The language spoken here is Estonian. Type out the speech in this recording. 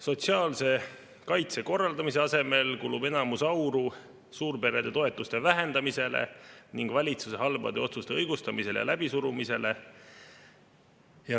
Sotsiaalse kaitse korraldamise asemel kulub enamus auru suurperede toetuste vähendamisele ning valitsuse halbade otsuste õigustamisele ja läbisurumisele.